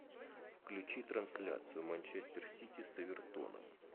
включи трансляцию манчестер сити с эвертоном